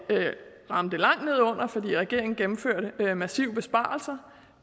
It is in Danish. ramte langt under fordi regeringen gennemførte massive besparelser